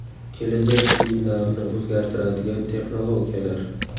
Kelajak kiyimlarini o‘zgartiradigan texnologiyalar.